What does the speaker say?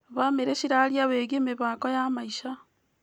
Bamĩrĩ cirarĩrĩria wĩgiĩ mĩbango ya maica.